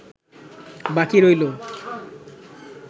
বাকি রইল